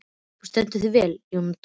Þú stendur þig vel, Jóndóra!